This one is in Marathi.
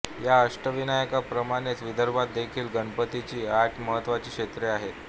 या अष्टविनायकांप्रमाणेच विदर्भात देखील गणपतीची आठ महत्त्वाची क्षेत्रे आहेत